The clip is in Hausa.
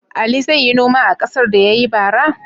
Ali zai yi noma a ƙasar da ya yi bara?